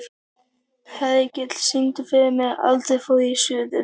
Hergill, syngdu fyrir mig „Aldrei fór ég suður“.